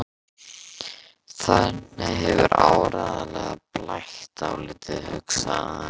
Þarna hefur áreiðanlega blætt dálítið, hugsaði hann.